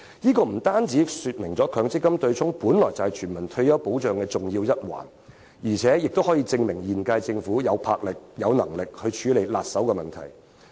鑒於取消強積金對沖為全民退休保障的重要一環，平息爭議可證明現屆政府具有魄力和能力處理棘手的問題。